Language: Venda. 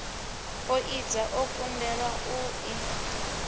poidza o kundelwa u i